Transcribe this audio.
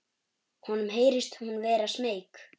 Honum heyrist hún vera smeyk.